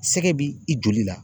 Sɛgɛ bi i joli la